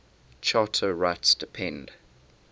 charter rights depend